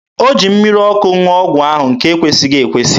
O ji mmiri ọkụ ṅụọ ọgwụ ahụ, nke na-ekwesịghị ekwesị.